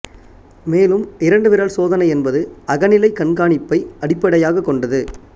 மேலும் இரண்டு விரல் சோதனை என்பது அகநிலை கண்காணிப்பை அடிப்படையாகக் கொண்டது